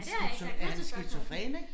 Er han er han skizofren ik